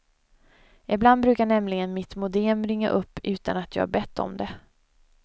Ibland brukar nämligen mitt modem ringa upp utan att jag har bett om det.